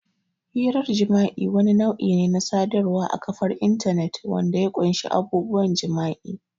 Hirar jima'i wani nau'i ne na sadarwar a kafar intanet wanda ya ƙunshi abubuwan jima'i.